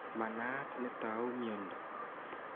Manaat netau miondo